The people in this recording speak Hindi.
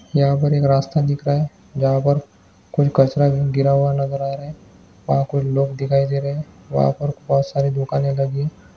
यहाँ यहा पर एक रास्ता दिख रहा है जहा पर कुछ कचरा गिरा हुआ नज़र आ रहा है वहा कुछ लोग दिखाई दे रहे वहा पर बहुत सारी दुकाने लगी--